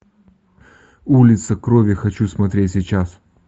улица крови хочу смотреть сейчас